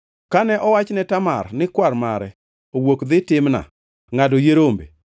Kane owach ne Tamar ni kwar mare owuok dhi Timna ngʼado yie rombe,